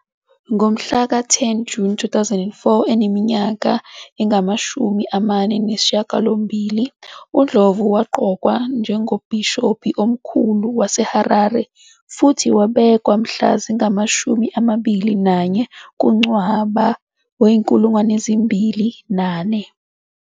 Ngomhlaka 10 Juni 2004, eneminyaka engamashumi amane nesishiyagalombili, uNdlovu waqokwa njengoMbhishobhi Omkhulu waseHarare futhi wabekwa mhla zingama-21 kuNcwaba 2004.